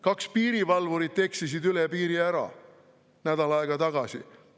Kaks piirivalvurit eksisid üle piiri ära, nädal aega tagasi.